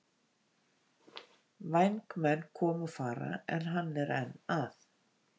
Vængmenn koma og fara en hann er enn að.